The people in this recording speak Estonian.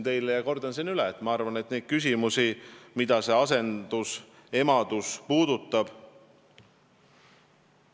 Aga ma kordan üle, et ma arvan, et neid küsimusi, mida asendusemadus puudutab, on palju.